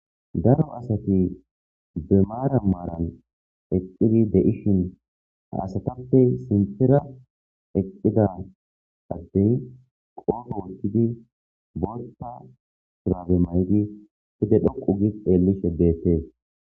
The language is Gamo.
daro asati be maara maaran eqqidi de7ishin ha asatappe sinfira eqqida addey qoofo wohtidi bootta purabe maydi fide dhoqu gi xeellishe deetee